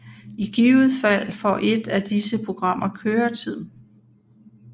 I givet fald får et af disse programmer køretid